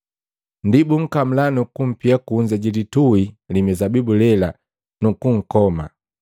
Ndi bunkamula nukumpia kunza ji litui li mizabibu lela, nukunkoma.